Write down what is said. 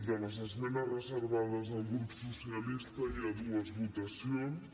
de les esmenes reservades del grup socialista hi ha dues votacions